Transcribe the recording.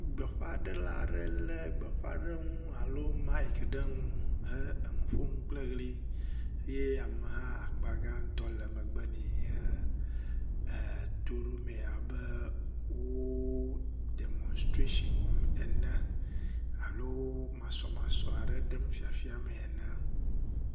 Gbeƒãɖela aɖe le gbeƒãɖeŋu alo mic ɖe nu he nuƒom kple ɣli eye ameha akpa gãtɔ le megbe nɛ he toɖom abe wo demonstration wɔm ene alo wo masɔmasɔ aɖe ɖem fifia mee ene.